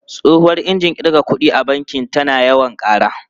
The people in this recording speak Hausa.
Tsohuwar injin kirga kuɗi a banki tana yawan ƙara.